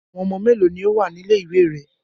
Àwọn ọmọ mélòó ni ó wà ní ilé-ìwé rẹ?